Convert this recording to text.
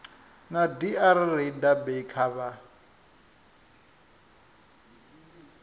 na dr rayda becker vha